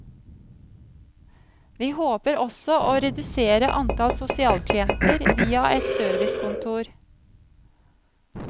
Vi håper også å redusere antall sosialklienter via et servicekontor.